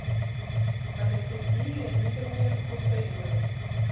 анастасии леонидовне хусаиновой